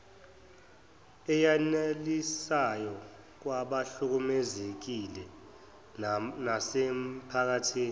eyanelisayo kwabahlukumezekile nasemiphakathini